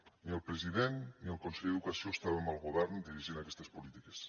ni el president ni el conseller d’educació estàvem al govern dirigint aquestes polítiques